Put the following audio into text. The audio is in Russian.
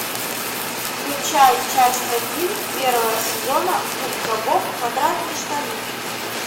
включай часть один первого сезона губка боб квадратные штаны